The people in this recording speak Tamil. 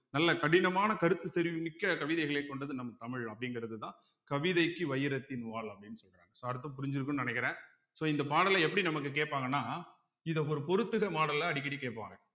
நல்ல கடினமான கருத்து செறிவு மிக்க கவிதைகளை கொண்டது நம் தமிழ் அப்படிங்கிறதுதான் கவிதைக்கு வைரத்தின் வாள் அப்படீன்னு சொல்றாங்க so அர்த்தம் புரிஞ்சிருக்குன்னு நினைக்கிறேன் so இந்த பாடலை எப்படி நமக்கு கேட்பாங்கன்னா இத ஒரு பொருத்துக model ல அடிக்கடி கேட்பாங்க